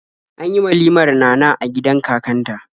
An yi walimar Nana a gidan kakanta.